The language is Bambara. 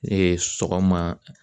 sɔgɔma